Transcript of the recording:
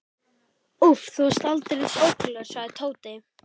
Úff, þú varst aldeilis ótrúlegur, sagði Tóti.